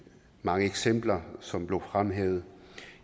mange eksempler som blev fremhævet